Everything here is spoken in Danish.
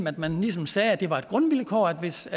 at man ligesom sagde at det var et grundvilkår at hvis